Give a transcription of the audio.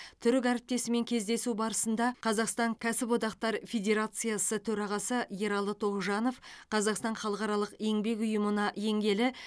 түрік әріптесімен кездесу барысында қазақстан кәсіподақтар федерациясы төрағасы ералы тоғжанов қазақстан халықаралық еңбек ұйымына енгелі